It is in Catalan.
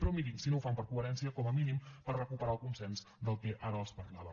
però mirin si no ho fan per coherència com a mínim per recuperar el consens del que ara els parlava